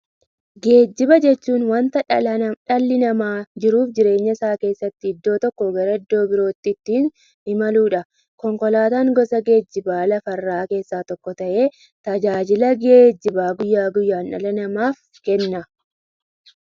Geejjiba jechuun wanta dhalli namaa jiruuf jireenya isaa keessatti iddoo tokkoo gara iddoo birootti ittiin imaluudha. Konkolaatan gosa geejjibaa lafarraa keessaa tokko ta'ee, tajaajila geejjibaa guyyaa guyyaan dhala namaaf kenna.